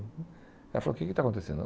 Ela falou, o que que está acontecendo?